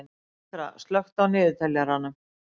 Mítra, slökktu á niðurteljaranum.